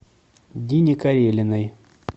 дине карелиной